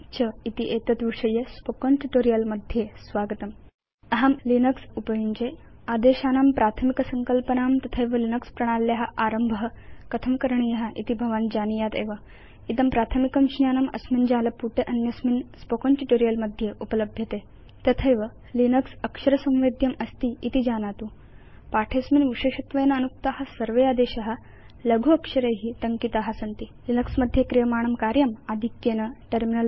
च इति एतत् विषयके स्पोकेन ट्यूटोरियल् मध्ये स्वागतम् अहं लिनक्स उपयुञ्जे आदेशानां प्राथमिकसंकल्पनां तथैव लिनक्स प्रणाल्या आरम्भ कथं करणीय इति भवान् जानीयात् एव इदं प्राथमिकं ज्ञानम् अस्मिन् जालपुटे अन्यस्मिन् स्पोकेन ट्यूटोरियल् मध्ये उपलभ्यते तथैव यत् लिनक्स अक्षर संवेद्यमस्तीति जानातु अस्मिन् पाठे विशेषत्वेन अनुक्ता सर्वे आदेशा लघु अक्षरै टङ्किता सन्ति लिनक्स मध्ये क्रियमाणं कार्यम् आधिक्येन टर्मिनल